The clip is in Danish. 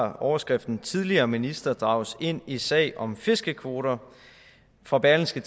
har overskriften tidligere minister drages ind i sag om fiskekvoter fra berlingske